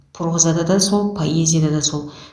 прозада да сол поэзияда да сол